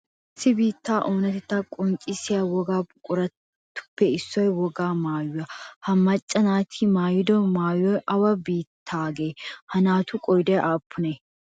Issi biittaa oonatettaa qonccissiya wogaa buquratuppe issoy wogaa maayuwa ha macca naati maayiddo maayoy awa biittaagee? Ha naatu qooday aappunee?